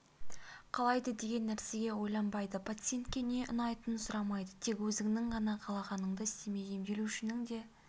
қалайды деген нәрсеге ойланбайды пациентке не ұнайтынын сұрамайды тек өзіңнің ғана қалағаныңды істемей емделушінің де